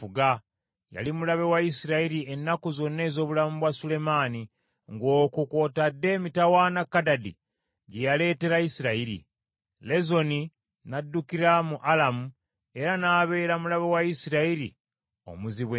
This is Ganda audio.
Yali mulabe wa Isirayiri ennaku zonna ez’obulamu bwa Sulemaani, ng’okwo kw’otadde emitawaana Kadadi gye yaleetera Isirayiri. Lezoni n’addukira mu Alamu, era n’abeera mulabe wa Isirayiri omuzibu ennyo.